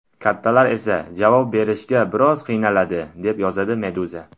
Kattalar esa javob berishga biroz qiynaladi, deb yozadi Meduza.